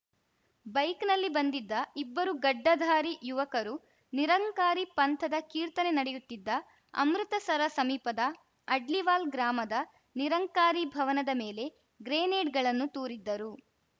ಬೈಕ್‌ನಲ್ಲಿ ಬಂದಿದ್ದ ಇಬ್ಬರು ಗಡ್ಡಧಾರಿ ಯುವಕರು ನಿರಂಕಾರಿ ಪಂಥದ ಕೀರ್ತನೆ ನಡೆಯುತ್ತಿದ್ದ ಅಮೃತಸರ ಸಮೀಪದ ಅಡ್ಲಿವಾಲ್‌ ಗ್ರಾಮದ ನಿರಂಕಾರಿ ಭವನದ ಮೇಲೆ ಗ್ರೆನೇಡ್‌ಗಳನ್ನು ತೂರಿದ್ದರು